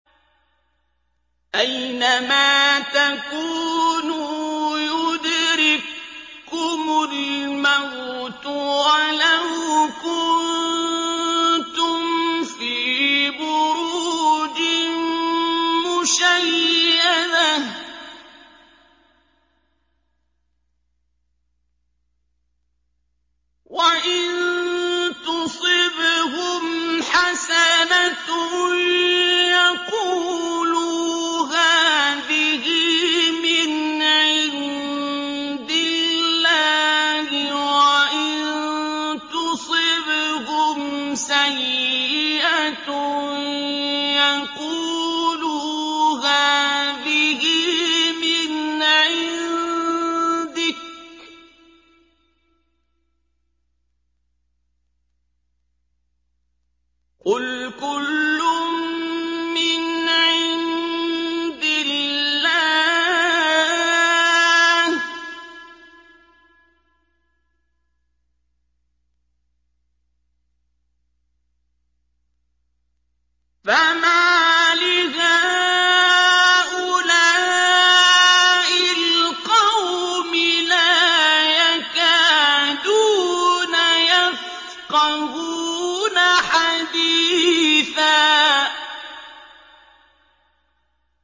أَيْنَمَا تَكُونُوا يُدْرِككُّمُ الْمَوْتُ وَلَوْ كُنتُمْ فِي بُرُوجٍ مُّشَيَّدَةٍ ۗ وَإِن تُصِبْهُمْ حَسَنَةٌ يَقُولُوا هَٰذِهِ مِنْ عِندِ اللَّهِ ۖ وَإِن تُصِبْهُمْ سَيِّئَةٌ يَقُولُوا هَٰذِهِ مِنْ عِندِكَ ۚ قُلْ كُلٌّ مِّنْ عِندِ اللَّهِ ۖ فَمَالِ هَٰؤُلَاءِ الْقَوْمِ لَا يَكَادُونَ يَفْقَهُونَ حَدِيثًا